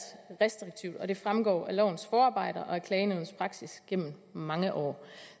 restriktivt og det fremgår af lovens forarbejder og af klagenævnets praksis gennem mange år